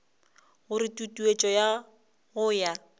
gore tutuetšo ya go ya